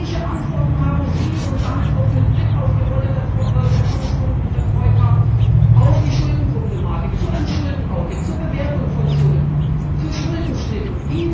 Welche Antworten haben Sie und damit auch mit Blick auf die Rolle der Kommission in der Troika auf die Schuldenproblematik, zu einem Schulden Audit, zur Bewertung von Schulden, zu Schuldenschnitten?